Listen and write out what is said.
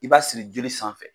I b'a siri joli sanfɛ.